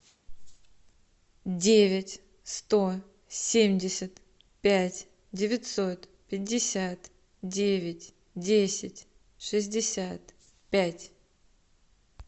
девять сто семьдесят пять девятьсот пятьдесят девять десять шестьдесят пять